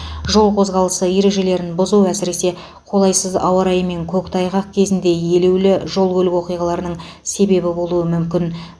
жол қозғалысы ережелерін бұзу әсіресе қолайсыз ауа райы мен көктайғақ кезінде елеулі жол көлік оқиғаларының себебі болуы мүмкін